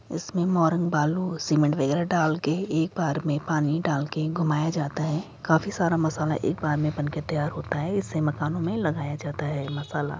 इसमें मोरम बालू सीमेंट वगैरह डालके एक बार में पानी डालके घुमाया जाता है काफी सारा मसाला एक बार में बनके तैयार होता है इसे मकानों में लगाया जाता है मसाला।